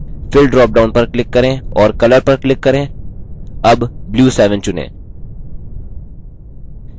fill dropdown पर click करें और color पर click करें अब blue 7 चुनें